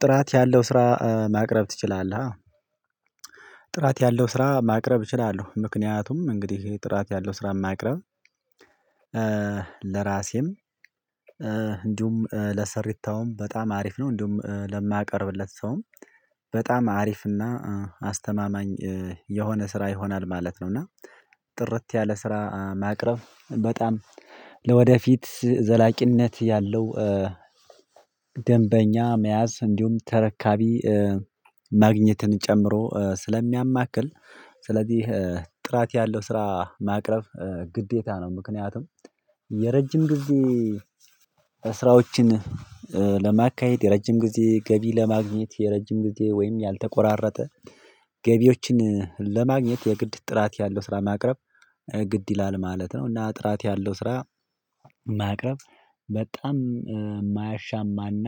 ጥራት ያለው ስራ ማቅረብ ትችላለሀ? ጥራት ያለው ስራ ማቅረብ እችላለሁ ምክንያቱም እንግዲህ ጥራት ያለው ስራ ማቅረብ ለራሴም እንዲሁም ለሰሪታውም በጣም አሪፍ ነው እንዲሁም ለማቀርብለት ሰውም በጣም አሪፍና አስተማማኝ የሆነ ስራ ይሆናል ማለት ነው። እና ጥርት ያለ ስራ ማቅረብ በጣም ለወደፊት ዘላቂነት ያለው ደንበኛ መያዝ እንዲሁም ተረካቢ ማግኘትን ጨምሮ ስለሚያማክል ስለዚህ ጥራት ያለው ስራ ማቅረብ ግዴታ ነው። ምክንያቱም የረጅም ግዴ ስራዎችን ለማካሄድ የረጅም ጊዜ ገቢ ለማግኘት የረጅም ጊዜ ወይም ያልተቆራረጠ ገቢዎችን ለማግኘት የግድ ጥራት ያለው ስራ ማቅረብ ግድ ይላል ማለት ነው። እና ጥራት ያለው ስራ ማቅረብ በጣም የማያሻማና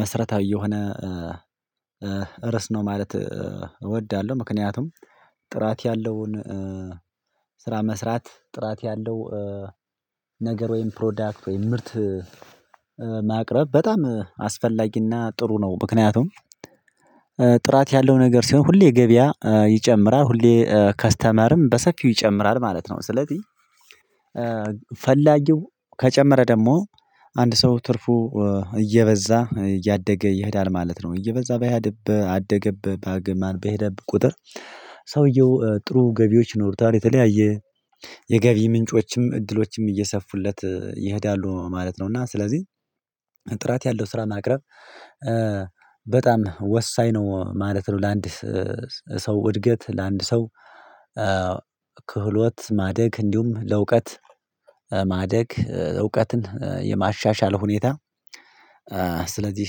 መሰረታዊ የሆነ ርስ ነው። ማለት እወዳለሁ ምክንያቱም ጥራት ያለውን ስራ መስራት ጥራት ያለው ነገር ወይም ፕሮዳክት ወይም ምርት ማቅረብ በጣም አስፈላጊና ጥሩ ነው። ምክንያቱም ጥራት ያለው ነገር ሲሆን ሁሌ ገበያ ይጨምራል ሁሌ ከስተመርም በሰፊው ይጨምራል ማለት ነው። ስለዚህ ፈላጊው ከጨመረ ደግሞ አንድ ሰው ትርፉ እየበዛ እያደገ ይሄዳል ማለት ነው። እየበዛ በሄደበት አደገበት በማን በሄደበት ቁጥር ሰውየው ጥሩ ገቢዎች ይኖሩታል የተለያየ የገቢ ምንጮችም እድሎችም እየሰፉለት ይሄዳሉ ማለት ነው። እና ስለዚህ ጥራት ያለው ስራ ማቅረብ በጣም ወሳኝ ነው ማለት ነው። ለአንድ ሰው እድገት ለአንድ ሰው ክህሎት ማደግ እንዲሁም ለእውቀት ማደግ እውቀትን የማሻሻል ሁኔታ ስለዚህ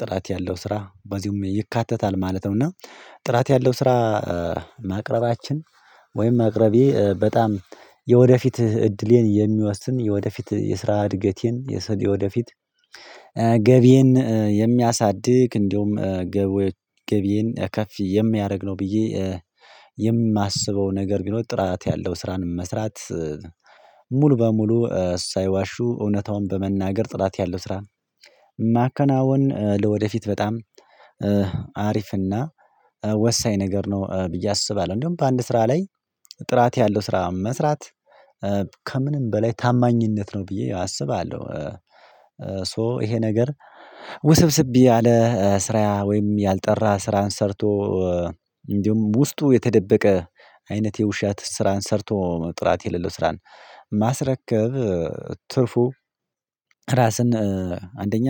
ጥራት ያለው ስራ በዚህም ይካተታል ማለት ነው። እና ጥራት ያለው ስራ ማቅረባችን ወይም ማቅረቤ በጣም የወደፊት እድሌን የሚወስን የወደፊት የስራ እድገቴን የሰው ወደፊት ገቢዬን የሚያሳድግ እንዲሁም ገቢዬን ከፍ የሚያደርግ ነው። ብዬ የማስበው ነገር ቢኖር ጥራት ያለው ስራን መስራት ሙሉ በሙሉ ሳይዋሹ እውነታውን በመናገር ጥራት ያለው ስራ ማከናወን ለወደፊት በጣም አሪፍና ወሳኝ ነገር ነው ብዬ አስባለሁ። እንደውም በአንድ ስራ ላይ ጥራት ያለው ስራ መስራት ከምንም በላይ ታማኝነት ነው ብዬ አስባለሁ። ሶ ይሄ ነገር ውስብስብ ያለ ስራ ወይም ያልጠራ ስራን ሰርቶ እንዲሁም ውስጡ የተደበቀ አይነት የውሻ ስራን ሰርቶ ጥራት የሌለው ስራን ማስረከብ ትርፉ ራስን አንደኛ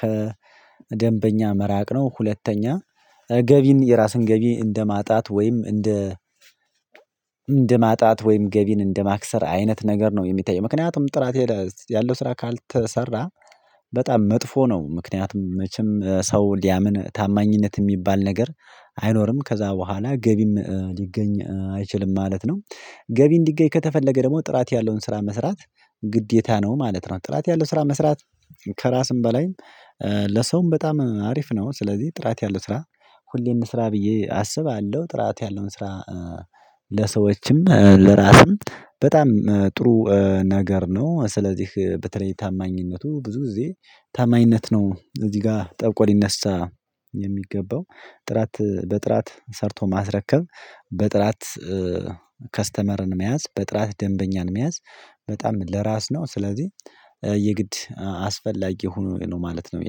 ከደንበኛ መራቅ ነው ሁለተኛ ገቢን የራስን ገቢ እንደማጣት ወይም እንደ ማጣት ወይም ገቢን እንደ ማክሰር አይነት ነገር ነው። የሚታየው ምክንያቱም ጥራት ሄደህ ያለው ስራ ካልተሰራ በጣም መጥፎ ነው ምክንያቱም መቼም ሰው ሊያምን ታማኝነት የሚባል ነገር አይኖርም ከዛ በኋላ ገቢም ሊገኝ አይችልም ማለት ነው። ገቢ እንዲገኝ ከተፈለገ ደግሞ ጥራት ያለውን ስራ መስራት ግዴታ ነው ማለት ነው። ጥራት ያለው ስራ መስራት ከራስም በላይም ለሰውም በጣም አሪፍ ነው። ስለዚህ ጥራት ያለው ስራ ሁሌም ስራ ብዬ አስባለሁ ጥራት ያለው ስራ ለሰዎችም ለራስም በጣም ጥሩ ነገር ነው። ስለዚህ በተለይ ታማኝነቱ ብዙ ጊዜ ታማኝነት ነው እዚህ ጋር ጠብቆ ሊነሳ የሚገባው ጥራት በጥራት ሰርቶ ማስረከብ በጥራት ከስተመርን መያዝ በጥራት ደንበኛን መያዝ በጣም ለራስ ነው ስለዚህ የግድ አስፈላጊ ሆኖ ነው ማለት ነው።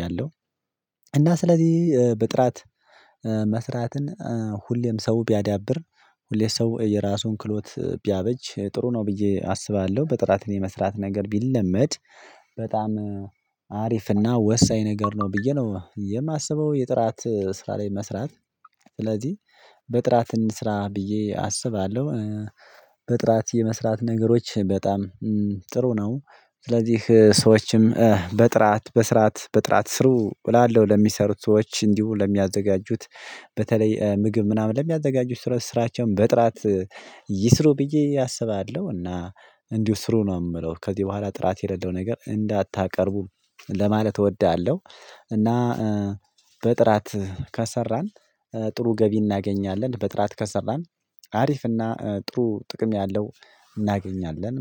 ያለው እና ስለዚህ በጥራት መስራትን ሁሌም ሰው ቢያዳብር ሁሌ ሰው የራሱን ክሎት ቢያበጅ ጥሩ ነው ብዬ አስባለሁ። በጥራት የመስራት ነገር ቢለመድ በጣም ወሳኝ ነገር ነው ብዬ ነው የማስበው። የጥራት ስራ ላይ መስራት ስለዚህ በጥራት እንስራ ብዬ አስባለሁ። በጥራት የመስራት ነገሮች በጣም ጥሩ ነው ስለዚህ ሰዎችም በጥራት በስራት በጥራት ስሩ እላለሁ ለሚሰሩት ሰዎች እንዲሁ ለሚያዘጋጁት በተለይ ምግብ ምናምን ለሚያዘጋጁት ስራቸውን በጥራት ይስሩ ብዬ አስባለሁ። እና እንዲሁ ስሩ ነው የምለው ከዚህ በኋላ ጥራት የሌለው ነገር እንዳታቀርቡ ለማለት እወዳለሁ። እና በጥራት ከሰራን ጥሩ ገቢ እናገኛለን በጥራት ከሰራን አሪፍ እና ጥሩ ጥቅም ያለው እናገኛለን